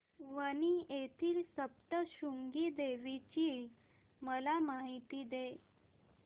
वणी येथील सप्तशृंगी देवी ची मला माहिती दे